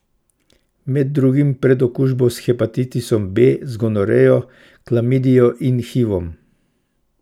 Med drugim pred okužbo s hepatitisom B, z gonorejo, klamidijo in hivom.